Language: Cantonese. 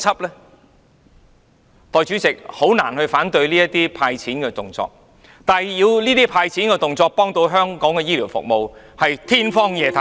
代理主席，我很難反對這種"派錢"的動作，但說這種"派錢"的動作能夠幫助香港的醫療服務，是天方夜譚。